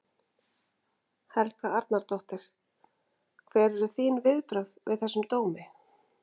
Helga Arnardóttir: Hver eru þín viðbrögð við þessum dómi?